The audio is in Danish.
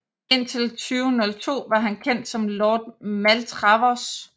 Indtil 2002 var han kendt som Lord Maltravers